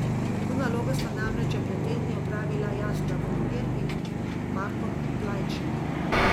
To nalogo sta namreč že pred tedni opravila Jasna Vukmir in Marko Plajnšek.